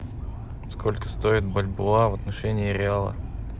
сколько стоит бальбоа в отношении реала